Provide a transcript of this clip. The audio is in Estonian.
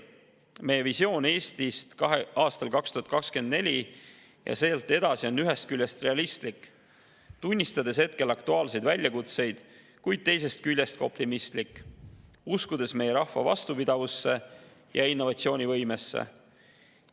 Meie visioon Eestist aastal 2024 ja sealt edasi on ühest küljest realistlik, tunnistades hetkel aktuaalseid väljakutseid, kuid teisest küljest ka optimistlik, uskudes meie rahva vastupidavusse ja innovatsioonivõimesse.